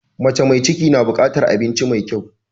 Mace mai ciki na bukatar abinci mai kyau.